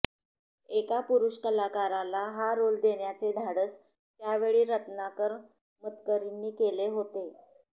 एका पुरुष कलाकाराला हा रोल देण्याचे धाडस त्यावेळी रत्नाकर मतकरींनी केले होते